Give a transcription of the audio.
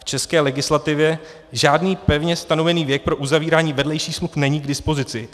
V české legislativě žádný pevně stanovený věk pro uzavírání vedlejších smluv není k dispozici.